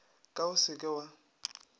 ka o se ke wa